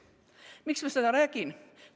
Miks ma seda räägin?